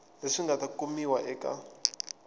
leswi nga ta kumiwa eka